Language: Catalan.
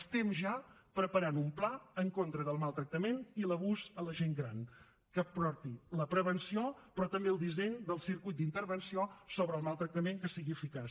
estem ja preparant un pla en contra del maltractament i l’abús a la gent gran que aporti la prevenció però també el disseny del circuit d’intervenció sobre el maltractament que sigui eficaç